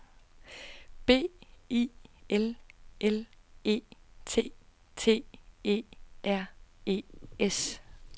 B I L L E T T E R E S